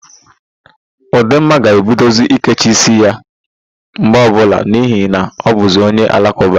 Ụdumma ga-ebidozi ikechi ísíí ya mgbe ọbụla n'ihi na ọbụzị onye Alakụba.